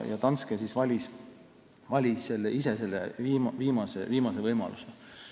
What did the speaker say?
Danske valis ise selle viimase variandi.